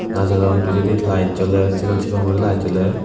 najodon pejadi light jolar segon segon guri light joler.